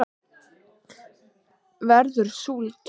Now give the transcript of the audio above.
verður súld